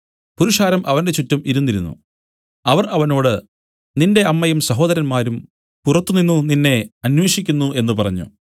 പുരുഷാരം അവന്റെ ചുറ്റും ഇരുന്നിരുന്നു അവർ അവനോട് നിന്റെ അമ്മയും സഹോദരന്മാരും പുറത്തുനിന്നു നിന്നെ അന്വേഷിക്കുന്നു എന്നു പറഞ്ഞു